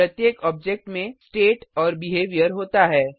प्रत्येक ऑब्जेक्ट में स्टेट और बिहेवियर होता है